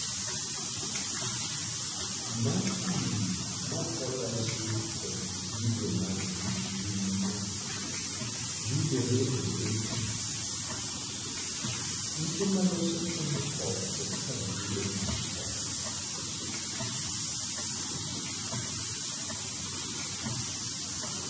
Makuri mokolosi kod gigo manigi ngima yudore e betri, ute maloso kemikol kod sabunde moko